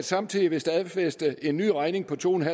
samtidig vil stadfæste en ny regning på to